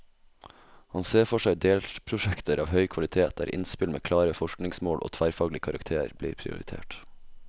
Han ser for seg delprosjekter av høy kvalitet, der innspill med klare forskningsmål og tverrfaglig karakter blir prioritert.